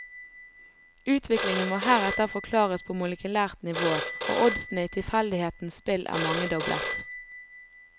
Utviklingen må heretter forklares på molekylært nivå, og oddsene i tilfeldighetens spill er mangedoblet.